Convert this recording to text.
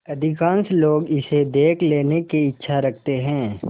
अधिकांश लोग इसे देख लेने की इच्छा रखते हैं